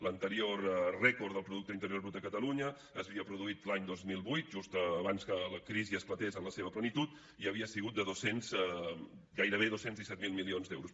l’anterior rècord del producte interior brut de catalunya s’havia produït l’any dos mil vuit just abans que la crisi esclatés en la seva plenitud i havia sigut de gairebé dos cents i disset mil milions d’euros